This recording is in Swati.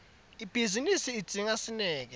ibhizinisi idzinga sineke